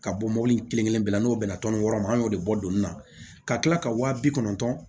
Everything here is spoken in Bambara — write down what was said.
Ka bɔ mobili in kelen kelen bɛɛ la n'o bɛnna tɔnɔni yɔrɔ ma an y'o de bɔ don min na ka kila ka waa bi kɔnɔntɔn